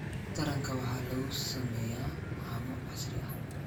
Taranka waxaa lagu sameeyaa haamo casri ah